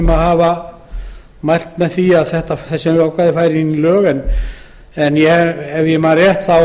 yfirleitt mælt með að ákvæðið fari inn í lög sérstaklega stéttarsamtök fiskimanna og fleiri ef ég man rétt